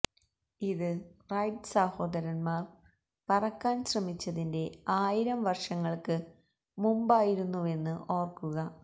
ഇത് റൈറ്റ് സഹോദരന്മാര് പറക്കാന് ശ്രമിച്ചതിന്റെ ആയിരം വര്ഷങ്ങള്ക്ക് മുമ്പായിരുന്നുവെന്ന് ഓര്ക്കുക